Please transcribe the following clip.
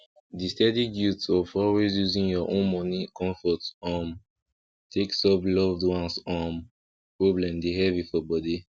the steady guilt of always using your own money comfort um take solve loved ones um problem dey heavy for body